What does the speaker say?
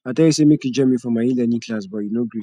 i tell you say make you join me for my elearning class but you no gree